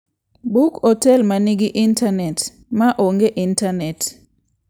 Buk otel ma nigi intanet maonge intanet.